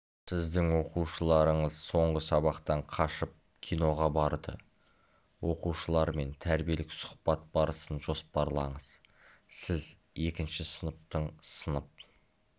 сіздің оқушыларыңыз соңғы сабақтан қашып киноға барды оқушылармен тәрбиелік сұхбат барысын жоспарлаңыз сіз екінші сыныптың сынып